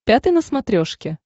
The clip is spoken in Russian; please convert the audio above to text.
пятый на смотрешке